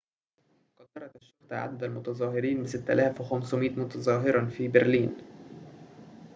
قدّرت الشرطة عدد المتظاهرين ب6500 متظاهراً في برلين